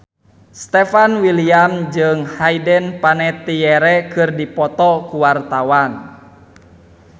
Stefan William jeung Hayden Panettiere keur dipoto ku wartawan